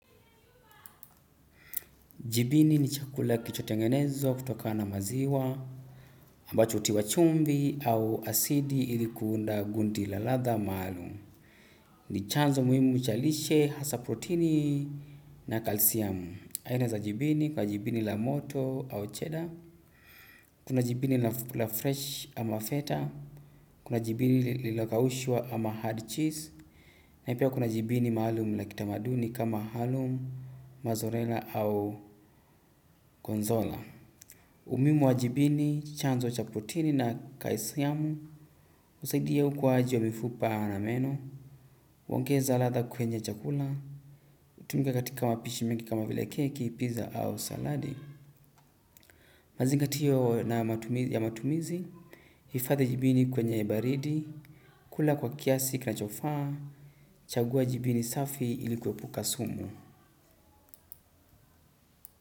Jipini ni chakula kilichotengenezwa kutokana na maziwa ambacho hutiwa chumvi au asidi ilikuunda gunti la ladha maalum ni chanzo muhimu cha lishe hasa protini na calciumu. Aina za jibini kwa jipini la moto au cheddar. Kuna jibini la fresh ama feta. Kuna jibini lililokaushwa ama hard cheese. Na pia kuna jibini maalum la kitamaduni kama halum, mazorela au konzola. Umuhimu wa jibini, chanzo cha protini na kaisiamu, husaidia ukuwaji wa mifupa na meno, uengeza latha kwenye chakula, hutumika katika mapishi mingi kama vile keki, pizza au saladi. Mazingatio na matumizi, hifathi jibini kwenye baridi, kula kwa kiasi kinachofaa, chagua jibini safi ilikuepuka sumu.